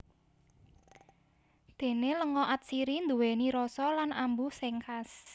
Déné lenga atsiri nduwèni rasa lan ambu sing khas